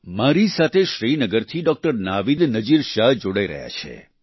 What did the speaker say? મારી સાથે શ્રીનગરથી ડોક્ટર નાવીદ નજીર શાહ જોડાઈ રહ્યા છે